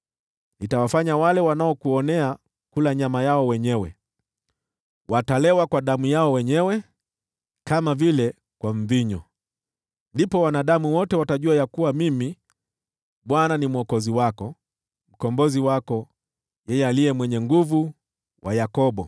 Nitawafanya wale wanaokuonea kula nyama yao wenyewe, watalewa kwa damu yao wenyewe, kama vile kwa mvinyo. Ndipo wanadamu wote watajua ya kuwa Mimi, Bwana , ni Mwokozi wako, Mkombozi wako, niliye Mwenye Nguvu wa Yakobo.”